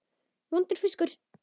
Vondur fiskur.